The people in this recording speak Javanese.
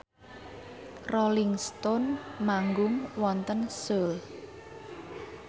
Rolling Stone manggung wonten Seoul